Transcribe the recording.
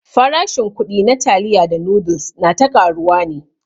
Farashin kuɗi na taliya da noodles na ta ƙaruwa ne.